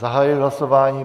Zahajuji hlasování.